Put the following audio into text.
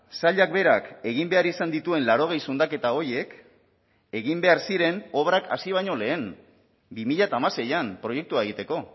sailak berak egin behar izan dituen laurogei zundaketa horiek egin behar ziren obrak hasi baino lehen bi mila hamaseian proiektua egiteko